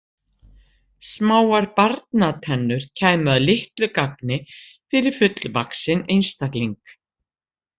Smáar barnatennur kæmu að litlu gagni fyrir fullvaxinn einstakling.